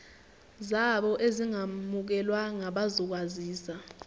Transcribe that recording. zabo ezingamukelwanga bazokwaziswa